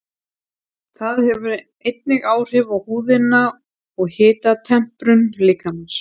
Það hefur einnig áhrif á húðina og hitatemprun líkamans.